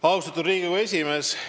Austatud Riigikogu esimees!